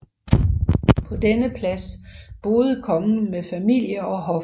På denne plads boede kongen med familie og hof